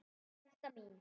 Frænka mín.